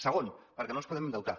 segon perquè no ens podem endeutar